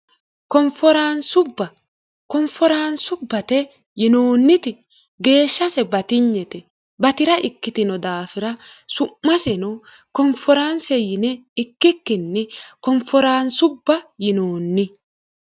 konforaansubbate yinoonniti geeshshase batinyete bati'ra ikkitino daafira su'maseno konforaanse yine ikkikkinni konforaansubba yinoonni